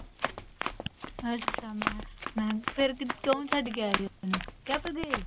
ਅੱਛਾ ਮੈਂ ਕਿਹਾ, ਮੈਂ, ਫੇਰ ਕਯੋਂ ਛੱਡ ਕੇ ਆਏ ਓਧਰ, ਕਾਹਤੋਂ ਗਏ?